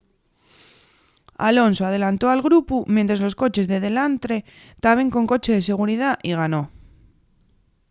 alonso adelantó al grupu mientres los coches de delantre taben con coche de seguridá y ganó